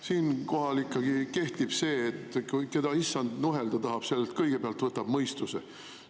Siinkohal ikkagi kehtib see, et keda issand nuhelda tahab, sellelt võtab ta kõigepealt mõistuse.